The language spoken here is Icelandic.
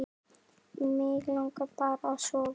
Mig langar bara að sofa.